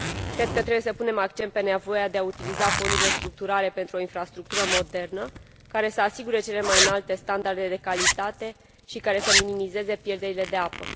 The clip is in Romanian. Cred că trebuie să punem accent pe nevoia de a utiliza fondurile structurale pentru o infrastructură modernă, care să asigure cele mai înalte standarde de calitate și care să minimizeze pierderile de apă.